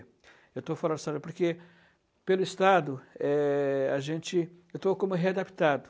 Eu estou fora da sala de aula porque, pelo Estado, é, a gente, eu estou como readaptado.